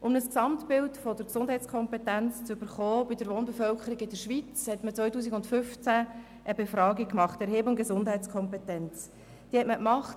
Um ein Gesamtbild der Gesundheitskompetenz der Schweizer Wohnbevölkerung zu erhalten, hat man im Jahr 2015 die Erhebung «Gesundheitskompetenz 2015» durchgeführt.